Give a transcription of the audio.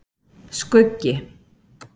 Skuggi